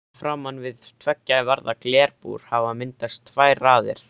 Framan við tveggja varða glerbúr hafa myndast tvær raðir.